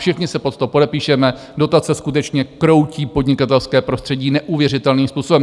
Všichni se pod to podepíšeme, dotace skutečně kroutí podnikatelské prostředí neuvěřitelným způsobem.